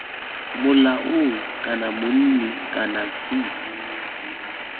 molaong kana monni kana c